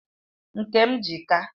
Nke m ji ka